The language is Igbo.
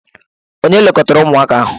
Ònye lekọtara ụmụaka ahụ?